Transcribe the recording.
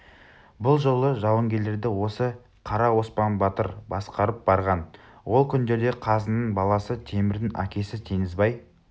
бұ жолғы жауынгерлерді осы қара оспан батыр басқарып барған ол күндерде қазының баласы темірдің әкесі теңізбай